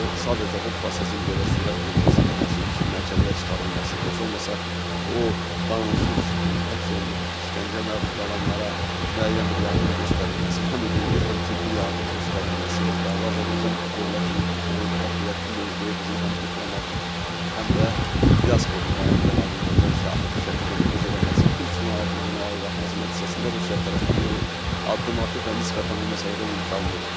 Sadəcə bu prosesin belə sürətlə keçirilməsi, işin məhkəməyə çıxarılması, heç olmasa o qanunsuz həbs olunub işgəncəyə məruz qalanlara müəyyən bir yardım göstərilməsi, həm hüquqi, həm tibbi yardım göstərilməsi ilə bağlı Azərbaycan dövlətinin tutduğu qətiyyətli mövqeyi, bizim həm diplomatik, həm də diaspor nümayəndələrinin orda işə aktiv şəkildə nüfuz eləməsi, bütün ictimaiyyətimizin ayağa qalxması nəticəsində Rusiya tərəfi geri addım atıb və nisbətən bu məsələdə yumşalma olub.